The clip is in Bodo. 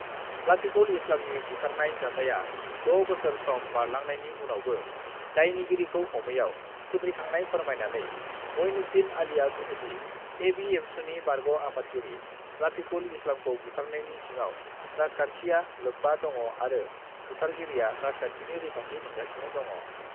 लाफिकुल इस्लामनि बुथारनाय जाथाया 6 बोसोर सम बारलांनायनि उनावबो दायनगिरिखौ हमैयाव खुद्रिखांनाय फोरमायनानै मइनुद्दिन आलिआ बुंदोंदि, एबिएमसुनि बारग' आफादगिरि लाफिकुल इस्लामखौ बुथारनायनि सिङाव राजखान्थिया लोब्बा दङ आरो बुथारगिरिआ राजखान्थिनि रैखाथि मोनगासिनो दङ।